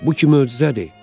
Bu ki möcüzədir.